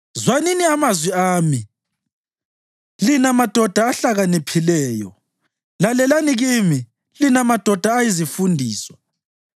“Zwanini amazwi ami, lina madoda ahlakaniphileyo; lalelani kimi, lina madoda ayizifundiswa.